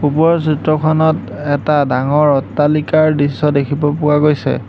ওপৰৰ চিত্ৰখনত এটা ডাঙৰ অট্টালিকাৰ দৃশ্য দেখিব পোৱা গৈছে।